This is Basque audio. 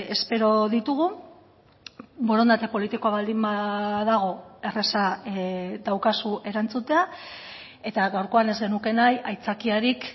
espero ditugu borondate politikoa baldin badago erraza daukazu erantzutea eta gaurkoan ez genuke nahi aitzakiarik